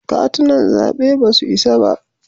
Katunan zaɓe ba su isa ba.